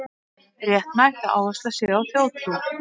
Réttmætt að áhersla sé á þjóðtrú